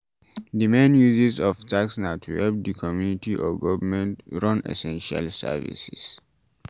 Di main uses of tax na to help di community or government run essential services